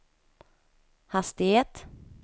hastighet